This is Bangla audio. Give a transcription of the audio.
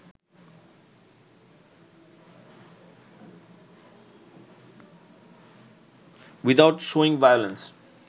without showing violence